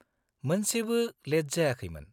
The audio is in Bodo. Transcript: मोनसेबो लेट जायाखैमोन।